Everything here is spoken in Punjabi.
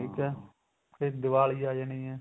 ਠੀਕ ਏ ਫੇਰ ਦੀਵਾਲੀ ਆ ਜਾਣੀ ਏ